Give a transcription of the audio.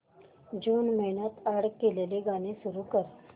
जून महिन्यात अॅड केलेली गाणी सुरू कर